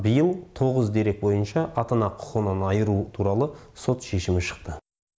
биыл тоғыз дерек бойынша ата ана құқығынан айыру туралы сот шешімі шықты